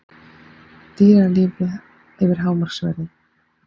Dýralyf yfir hámarksverði